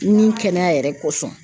Nin kɛnɛya yɛrɛ kosɔn.